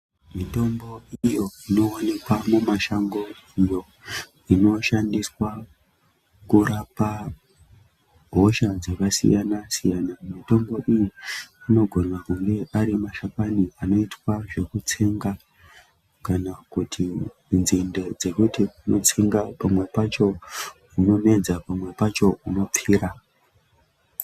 Mitombo iyo inowanikwa mumashango iyo inoshandiswa kurapa hosha dzakasiyana siyana, mitombo iyi inogona kunge arimashakani anoitwa zvekutsenga kana kuti nzinde dzekutsenga pamwe pacho unomedza pamwe pacho unopfira.